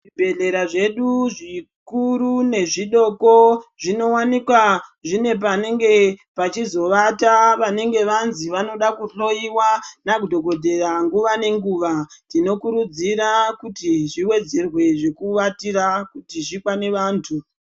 Zvibhedhlera zvedu zvikuru nezvidoko zvinowanikwa zvine panenge pachizowata vanenge vanzi vanoda kuhloyiwa nadhokodheya nguva nenguva tinokurudzira kuti zviwedzerwe zvekuvatira kuti zvikane vanthu.